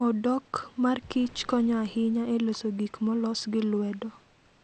Odok mar Kich konyo ahinya e loso gik molos gi lwedo.